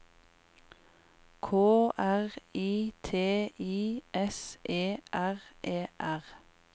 K R I T I S E R E R